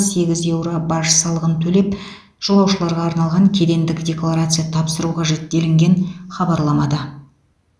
сегіз еуро баж салығын төлеп жолаушыларға арналған кедендік декларация тапсыру қажет делінген хабарламада